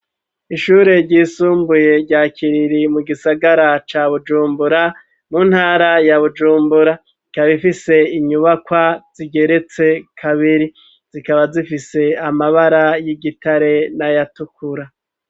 Ishure ryisumbuye rya kiriri mu gisagara ca bujumbura mu ntara ya bujumbura ikabifise inyubakwa zigeretse kabiri zikaba zifise amabara y'igitare n'ayatukura.